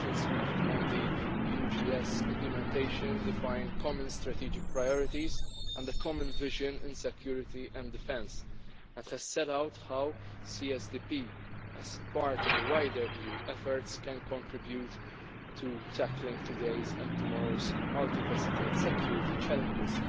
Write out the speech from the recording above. conclusions reached on the EUGS implementation define common strategic priorities and a common vision in security and defence and has set out how CSDP, as part of wider EU efforts, can contribute to tackling today's and tomorrow's multifaceted security challenges